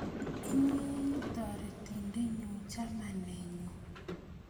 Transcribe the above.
Inye ii taretindenyu chamanenyu